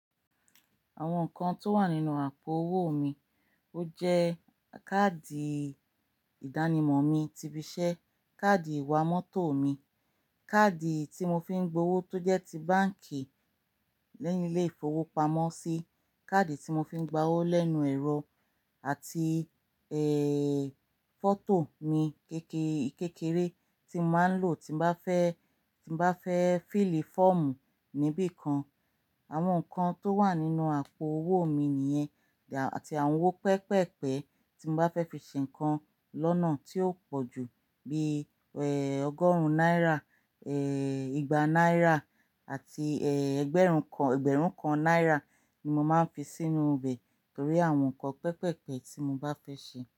Àwọn nǹkan tó wà nínú àpò owó mi ó jẹ́ káàdì ìdánimọ̀ mi ti ibi iṣẹ́, káàdì ìwà mọ́tò mi, káàdì tí mo fi ń gbowó tó jẹ́ ti báǹkì leyì ilé ìfowópamọ́sí, káàdì tí mo fi ń gba owó lẹ́nu ẹ̀rọ àti, ẹ́, fọ́tò mi kékeré tí màá ń lò tí bá fẹ́, tí bá fẹ́ fílì fọ́ọ̀mù níbi kan. Àwọn nǹkan tó wà nínú àpò owó mi nìyẹn àti àwọn owó pẹpẹ́pẹ́ tí mo bá fẹ́ fi ṣe nǹkan lọ́nà tí ó pọ̀jù bí i, ẹ́, ọgọ́rùn-ún náírà, ẹ́, igba náírà àti, ẹ́, ẹgbẹ̀rún kan, ẹgbẹ̀rún kan náírà ni mo máa ń fi sínú ibẹ̀ torí àwọn nǹkan pẹpẹ́pẹ́ tí mo bá fẹ́ ṣe.